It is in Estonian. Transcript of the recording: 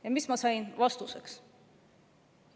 Ja mis ma sain vastuseks?